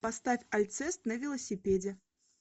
поставь альцест на велосипеде